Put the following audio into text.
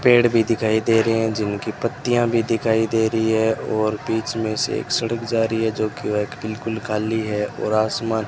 पेड़ भी दिखाई दे रहे है जिनकी पत्तियां भी दिखाई दे रही है और बीच में से एक सड़क जा रही है जोकि वह एक बिल्कुल काली है और आसमान--